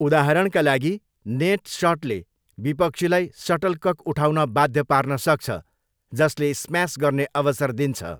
उदाहरणका लागि नेट सटले विपक्षीलाई सटलकक उठाउन बाध्य पार्न सक्छ, जसले स्म्यास गर्ने अवसर दिन्छ।